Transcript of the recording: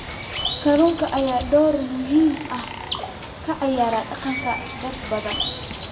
Kalluunka ayaa door muhiim ah ka ciyaara dhaqanka dad badan.